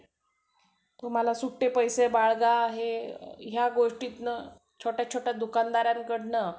तुम्हाला सुट्टे पैसे बाळगा हे या गोष्टीतनं छोट्या छोट्या दुकानदाराकडनं